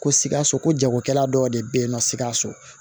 Ko sikaso ko jagokɛla dɔw de bɛ ye nɔ sikaso